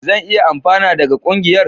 Zan iya amfana daga ƙungiyar?